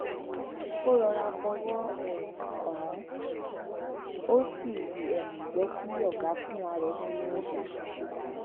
ó rọra fọwó um kàn án ó sì um jé kí ọga fúnra rè pinnu ohun tó máa ṣe